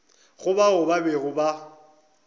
go bao ba bego ba